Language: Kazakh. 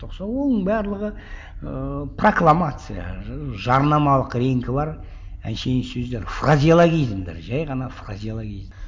оның барлығы ыыы прокламация жарнамалық реңкі бар әншейін сөздер фразеологизмдер жай ғана фразеологизм